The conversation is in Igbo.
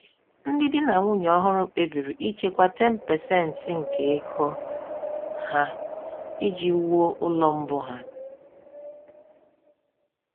Ndị di na nwunye ọhụrụ kpebiri ichekwa 10% nke ego ha iji wuo ụlọ mbụ ha.